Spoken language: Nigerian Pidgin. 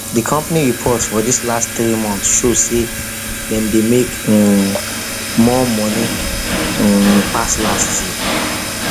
the company report for this last three months show say dem say dem make um more money um pass last year um